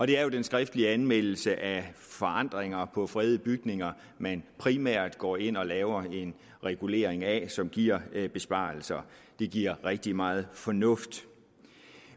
det er jo den skriftlige anmeldelse af forandringer på fredede bygninger man primært går ind og laver en regulering af som giver besparelser det giver rigtig meget fornuft